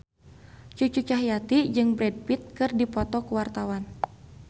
Cucu Cahyati jeung Brad Pitt keur dipoto ku wartawan